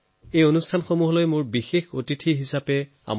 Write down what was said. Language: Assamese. এই শিশুসকল মোৰ বিশেষ অতিথি হিচাপে আহক